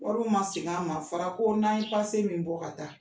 Wariw man sigin an ma a fɔra ko n'an ye min bɔ ka taa.